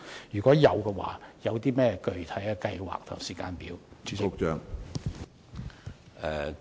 如會，當局的具體計劃及時間表為何？